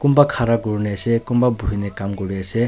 Kunba khara kurena ase kunba buhuina kam kure ase.